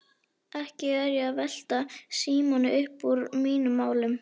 Ekki er ég að velta Símoni uppúr mínum málum.